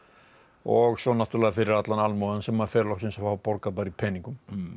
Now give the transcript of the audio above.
og svo náttúrulega fyrir allan almúgann sem fer loksins að fá borgað bara í peningum